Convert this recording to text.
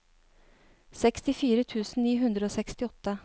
sekstifire tusen ni hundre og sekstiåtte